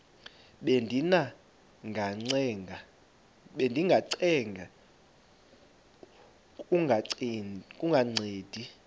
bendiba ngacenga kungancedi